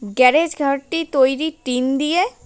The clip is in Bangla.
গ্যারেজ ঘরটি তৈরি টিন দিয়ে।